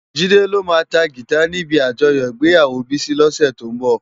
Jide lo má tá gitá ni ibi ájòyò igbéyáwó Bisi lòsè tó nbò